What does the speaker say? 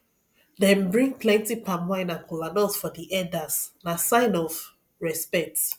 dem bring plenty palmwine and kola nut for di elders na sign of respect